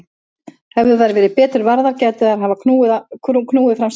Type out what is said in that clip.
Hefðu þær verið betur varðar gætu þeir hafa knúið fram sigur.